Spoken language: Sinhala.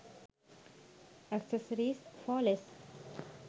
accessories for less